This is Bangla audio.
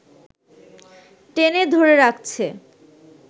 টেনে ধরে রাখছে